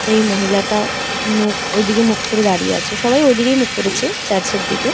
এই মহিলাটা ঐদিকে মুখকরে দাড়িয়ে আছে সবাই ওইদিকে মুককরেছে চার্চের দিকে।